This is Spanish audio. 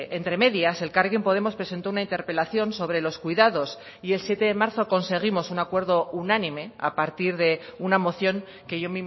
entre medias elkarrekin podemos presentó una interpelación sobre los cuidados y el siete de marzo conseguimos un acuerdo unánime a partir de una moción que yo